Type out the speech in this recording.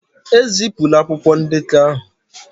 Ezipụla akwụkwọ ndekọ aha